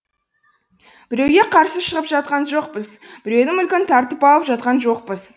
біреуге қарсы шығып жатқан жоқпыз біреудің мүлкін тартып алып жатқан жоқпыз